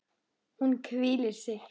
Hún hvílir sig.